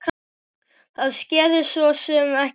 Það skeði sosum ekki neitt.